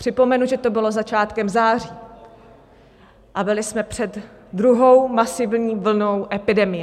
Připomenu, že to bylo začátkem září a byli jsme před druhou masivní vlnou epidemie.